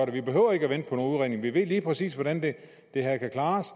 vi behøver ikke vente på nogen udredning vi ved lige præcis hvordan det her kan klares